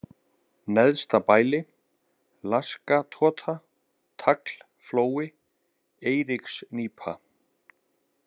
Neðstabæli, Laskatota, Taglflói, Eiríksnípa